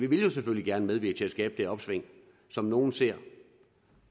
vil jo selvfølgelig gerne medvirke til at skabe det opsving som nogle ser